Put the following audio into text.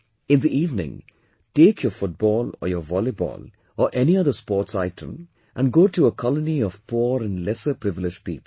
In the evening, take your football or your volleyball or any other sports item and go to a colony of poor and lesser privileged people